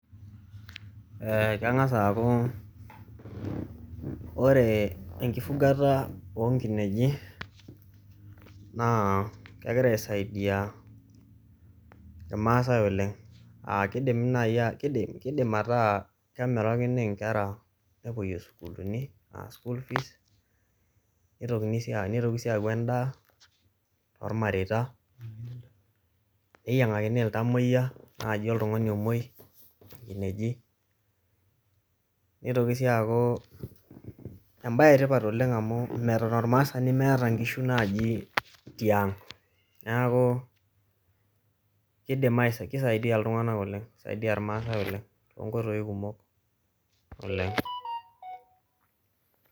eeh kengas aaku ore enkifugata o nkineji, naa kegira aisaidia irmaasae oleng, aah kidimi nai kid kidim ataa kemirakini inkera nepuoyie sukuuluni aa school fees nitokini sii a nitoki sii aaku endaa tormareita, neyiang'akini iltamoyia naaji oltung'ani omoi inkineji, nitoki sii aaku embae etipat oleng amuu meton ormaasani meeta nkishu naaji tiang, neeku kidim aisa, kisaidia iltung'anak oleng kisaidia irmaasae oleng too nkoitoi kumok oleng.